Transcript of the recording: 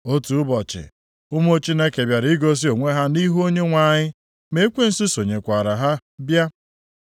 Otu ụbọchị ụmụ Chineke bịara igosi onwe ha nʼihu Onyenwe anyị ma ekwensu sonyekwara ha bịa.